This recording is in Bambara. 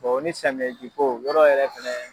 ni samiyɛji ko yɔɔrɔ yɛrɛ fɛnɛ